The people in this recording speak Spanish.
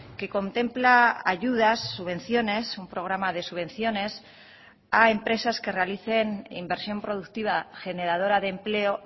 que contempla ayudas subvenciones un programa de subvenciones a empresas que realicen inversión productiva generadora de empleo